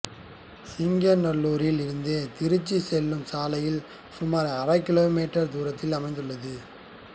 சிங்கநல்லூரில் இருந்து திருச்சி செல்லும் சாலையில் சுமார் அரை கிலோமீட்டர் தூரத்தில் அமைந்துள்ளது